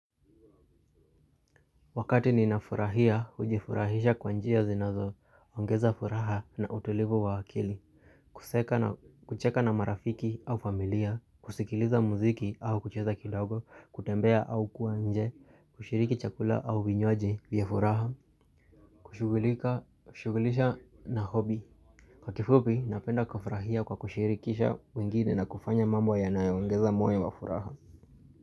Wakati ninafurahia, hujifurahisha kwa njia zinazo, ongeza furaha na utulivu wa akili, kuseka na kucheka na marafiki au familia, kusikiliza muziki au kucheza kidogo, kutembea au kuwa nje, kushiriki chakula au vinywaji vya furaha, kushughulisha na hobi. Kwa kifupi, napenda kufurahia kwa kushirikisha wengine na kufanya mambo yanaongeza moyo wa furaha.